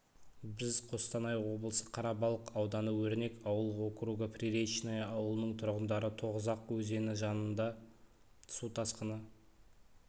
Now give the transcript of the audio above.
біз қостанай облысы қарабалық ауданы өрнек ауыл округы приречное ауылының тұрғындары тоғызақ өзені жаныңда су тасқыны